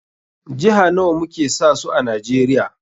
Jiha nawa muke sa su a Najeriya?